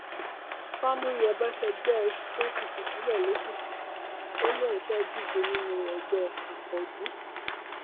fàmúyẹbọ fẹgbẹ apc sílẹ lẹkìtì ó lóun fẹẹ díje nínú ẹgbẹ akọọdù